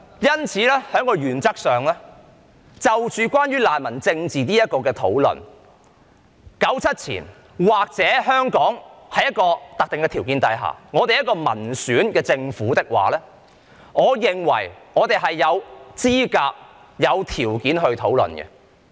因此，在原則上關於難民政治的討論 ，1997 年之前，或香港在一個特定的條件之下，而且政府是民選政府的話，我便認為我們是有資格和條件進行討論。